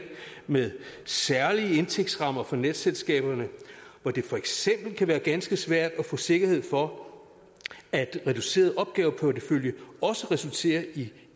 med særlige indtægtsrammer for netselskaberne hvor det for eksempel kan være ganske svært at få sikkerhed for at en reduceret opgaveportefølje også resulterer i en